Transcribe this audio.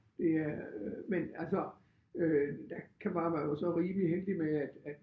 Det øh men altså øh der kan var man jo så rimelig heldig med at at